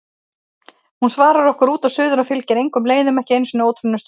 Hún svarar okkur út og suður og fylgir engum leiðum, ekki einu sinni ótroðnustu slóðum.